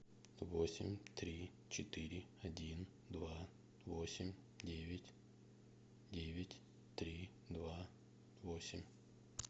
восемь три четыре один два восемь девять девять три два восемь